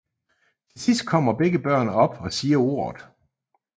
Til sidst kommer begge børn op og siger ordet